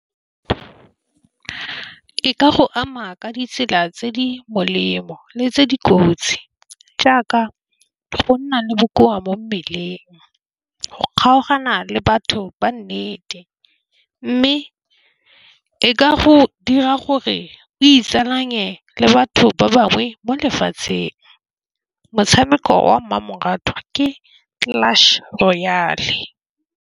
Ke ka go ama ka ditsela tse di molemo le tse dikotsi jaaka go nna le bokoa mo mmeleng. Go kgaogana le batho ba nnete mme e ka go dira gore o itsalanye le batho ba bangwe mo lefatsheng motshameko wa mmamoratwa ke clutch royale.